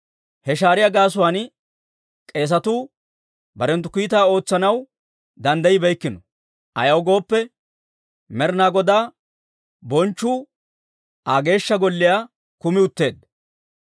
He shaariyaa gaasuwaan k'eesatuu barenttu kiitaa ootsanaw danddayibeykkino; ayaw gooppe, Med'inaa Godaa bonchchu Aa Geeshsha Golliyaa kumi utteedda.